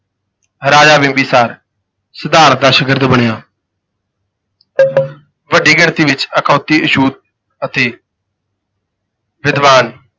ਰਾਜਾ ਬਿੰਬੀਸਾਰ ਸਿਧਾਰਥ ਦਾ ਸ਼ਾਗਿਰਦ ਬਣਿਆ ਵੱਡੀ ਗਿਣਤੀ ਵਿਚ ਅਖਾਉਤੀ ਅਛੂਤ ਅਤੇ ਵਿਦਵਾਨ